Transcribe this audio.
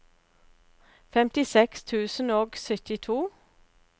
femtiseks tusen og syttito